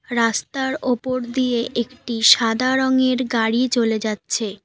রাস্তার ওপর দিয়ে একটি সাদা রংয়ের গাড়ি চলে যাচ্ছে।